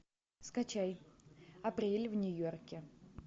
скачай апрель в нью йорке